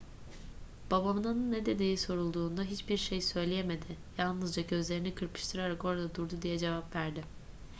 babanın ne dediği sorulduğunda hiçbir şey söyleyemedi yalnızca gözlerini kırpıştırarak orada durdu diye cevap verdi